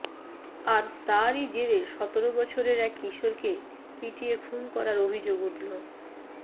আর তারই জেরে সতেরো বছরের এক কিশোরকে পিটিয়ে খুন করার অভিযোগ উঠল